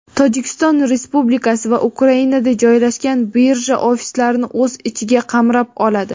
Tojikiston Respublikasi va Ukrainada joylashgan birja ofislarini o‘z ichiga qamrab oladi.